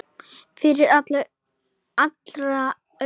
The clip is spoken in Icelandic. Fyrir allra augum!